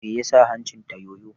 Me ya sa hancin ta yoyo?